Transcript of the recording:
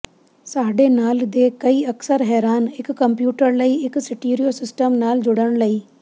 ਸਾਡੇ ਨਾਲ ਦੇ ਕਈ ਅਕਸਰ ਹੈਰਾਨ ਇੱਕ ਕੰਪਿਊਟਰ ਲਈ ਇੱਕ ਸਟੀਰੀਓ ਸਿਸਟਮ ਨਾਲ ਜੁੜਨ ਲਈ